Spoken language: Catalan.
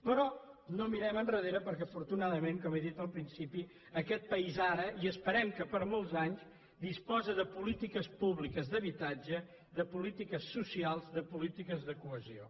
però no mirem enrere perquè afortunadament com he dit al principi aquest país ara i esperem que per molts anys disposa de polítiques públiques d’habitatge de polítiques socials de polítiques de cohesió